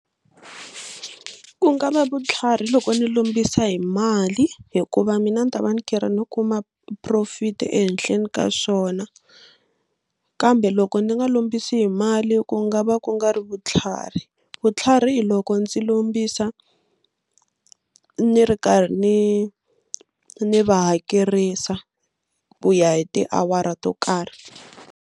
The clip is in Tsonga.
Ku nga va vutlhari loko ni lombisa hi mali hikuva mina ndzi ta va ni kera no kuma profit ehenhleni ka swona kambe loko ndzi nga lombisi hi mali ku nga va ku nga ri vutlhari. Vutlhari hi loko ndzi lombisa ni ri karhi ni ni va hakerisa ku ya hi tiawara to karhi.